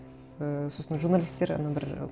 і сосын журналистер анау бір